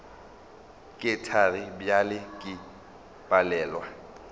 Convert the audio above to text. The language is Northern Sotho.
ke thari bjale ke palelwa